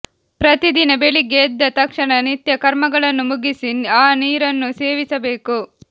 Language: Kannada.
ಪ್ರತಿದಿನ ಬೆಳಿಗ್ಗೆ ಎದ್ದ ತಕ್ಷಣ ನಿತ್ಯಕರ್ಮಗಳನ್ನು ಮುಗಿಸಿ ಆ ನೀರನ್ನು ಸೇವಿಸಬೇಕು